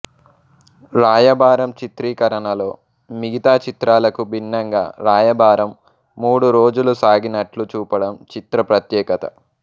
రాయబారం చిత్రీకరణలో మిగతా చిత్రాలకు భిన్నంగా రాయబారం మూడు రోజులు సాగినట్లు చూపడం చిత్ర ప్రత్యేకత